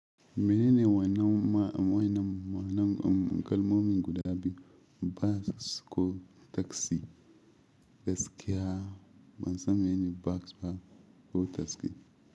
Menene wannan ma'aunin? Manan kalmomin guda biyu bas ko taxi. Gaskiya ban san menene bas ko taxi.